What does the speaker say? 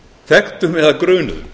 þekktum eða grunuðum